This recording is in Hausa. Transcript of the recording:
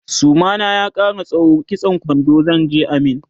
suma na ya Kara tsawo kitsan kwando zanje a min